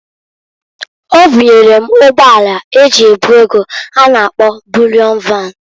Obunyere m ụgbọ ala eji ebu ego a na -akpọ Bulịọn Van.